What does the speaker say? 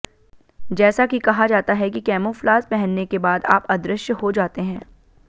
जैसा कि कहा जाता है कि कैमोफ्लाज पहनने के बाद आप अदृश्य हो जाते हैं